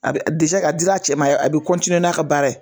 A bɛ ka dira a cɛ ma ye a bɛ n'a ka baara ye.